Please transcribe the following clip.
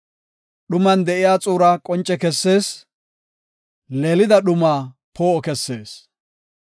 Dhuman de7iya xuura qonce kessees; leelida dhumaa poo7o kessees.